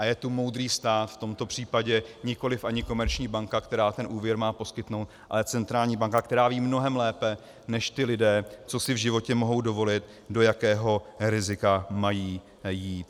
A je tu moudrý stát, v tomto případě nikoliv ani komerční banka, která ten úvěr má poskytnout, ale centrální banka, která ví mnohem lépe než ti lidé, co si v životě mohou dovolit, do jakého rizika mají jít.